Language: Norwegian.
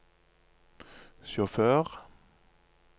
sjåfør